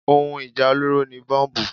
Ohun ìjà olóró ni Bọ́mbù.